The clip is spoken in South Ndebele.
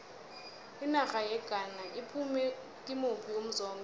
inarha yeghana iphume kimuphi umzombe